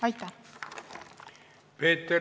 Aitäh!